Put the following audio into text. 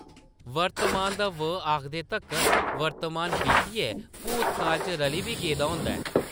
वर्तमान दा ‘व’ आखदे तक्कर वर्तमान बीतियै भूतकाल च रली बी गेदा होंदा ऐ ।